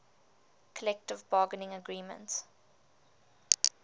collective bargaining agreement